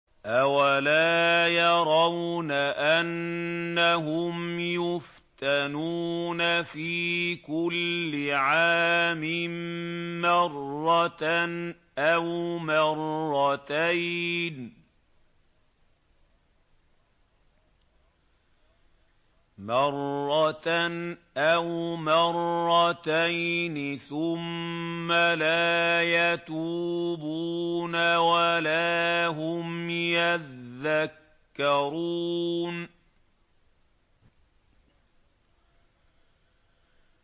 أَوَلَا يَرَوْنَ أَنَّهُمْ يُفْتَنُونَ فِي كُلِّ عَامٍ مَّرَّةً أَوْ مَرَّتَيْنِ ثُمَّ لَا يَتُوبُونَ وَلَا هُمْ يَذَّكَّرُونَ